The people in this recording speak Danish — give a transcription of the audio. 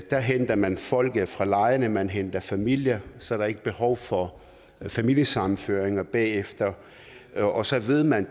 der henter man folk fra lejrene man henter familier så der ikke er behov for familiesammenføringer bagefter og så ved man